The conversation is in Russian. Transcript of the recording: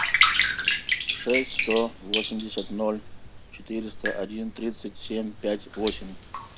шесть сто восемьдесят ноль четыреста один тридцать семь пять восемь